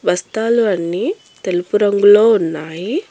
బస్తాలు అన్నీ తెలుపు రంగులో ఉన్నాయి.